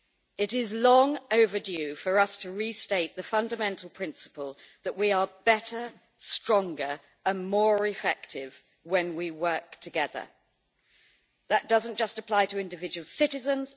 It is long overdue for us to restate the fundamental principle that we are better, stronger and more effective when we work together. That does not just apply to individual citizens